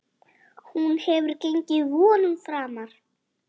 Hún hefur gengið vonum framar.